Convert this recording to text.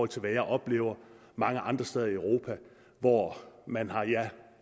til hvad jeg oplever mange andre steder i europa hvor man har